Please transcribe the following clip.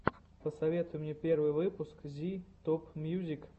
посоветуй мне первый выпуск зи топмьюзик